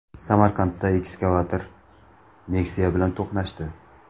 Samarqandda ekskavator Nexia bilan to‘qnashdi.